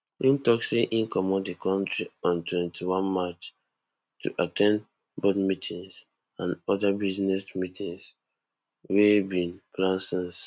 im tok say im comot di kontri on twenty-one march to at ten d board meetings and oda business meetings wey dem bin plan since